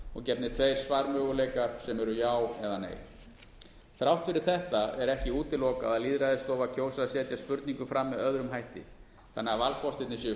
og gefnir tveir svarmöguleikar sem eru já eða nei þrátt fyrir þetta er ekki útilokað að lýðræðisstofa kjósi að setja spurningu fram með öðrum hætti þannig að valkostir séu